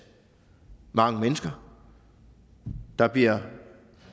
mange mennesker der bliver